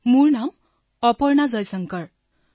অপৰ্ণাঃ মোৰ নাম অপৰ্ণা জয়শংকৰ